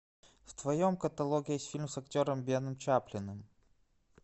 в твоем каталоге есть фильм с актером беном чаплиным